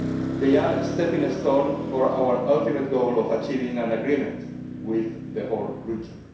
They are a stepping stone for our ultimate goal of achieving an agreement with the whole region.